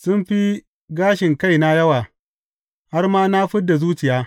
Sun fi gashin kaina yawa, har ma na fid da zuciya.